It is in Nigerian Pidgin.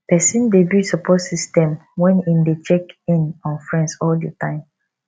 persin de build support system when im de check in on friends all di time